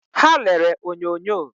Ha lere onyonyo